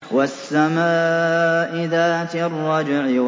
وَالسَّمَاءِ ذَاتِ الرَّجْعِ